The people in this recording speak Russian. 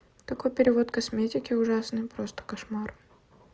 такой перевод косметики ужасный просто кошмар